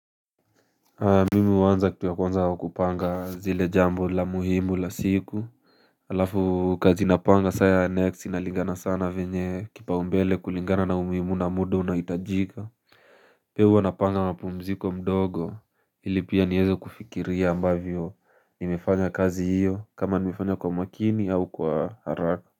Mimi huanza kitu ya kwanza kupanga zile jambo la muhimu la siku. Alafu kazi napanga saa ya next inalingana saa na venye kipaumbele kulingana na umuhimu na muda unaohitajika. Pia huwa napanga mapumziko mdogo ili pia niweze kufikiria ambavyo nimefanya kazi hiyo kama nimefanya kwa umakini au kwa haraka.